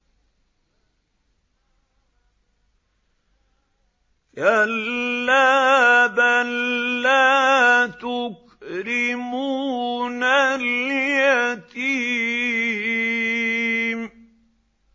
كَلَّا ۖ بَل لَّا تُكْرِمُونَ الْيَتِيمَ